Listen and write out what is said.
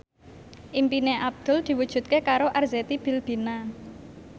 impine Abdul diwujudke karo Arzetti Bilbina